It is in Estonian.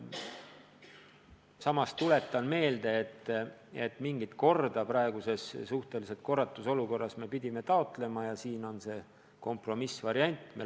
Samas tuletan meelde, et mingit korda praeguses suhtelises korratuses me pidime taotlema, ja siin on leitud kompromissvariant.